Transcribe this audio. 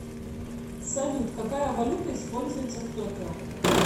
салют какая валюта используется в токио